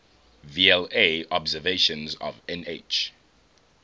vla observations of nh